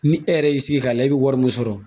Ni e yɛrɛ y'i sigi k'a lajɛ i be wari min sɔrɔ